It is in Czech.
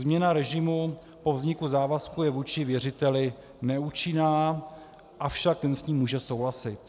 Změna režimu po vzniku závazku je vůči věřiteli neúčinná, avšak ten s ním může souhlasit.